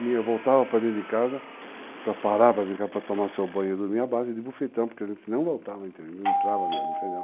Eu voltava para dentro de casa para parar, para vir cá para tomar seu banho, dormir na base de bofetão, porque a gente não voltava, não entrava mesmo, entendeu?